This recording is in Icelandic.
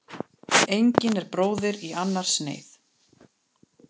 Engin er bróðir í annars neyð.